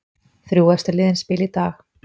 Þrjú efstu liðin spila í dag